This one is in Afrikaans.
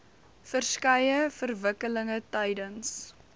verskeie verwikkelinge tydens